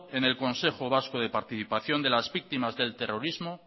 en el consejo vasco de participación de las víctimas del terrorismo